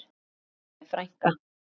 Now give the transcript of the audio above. Elsku fanney frænka.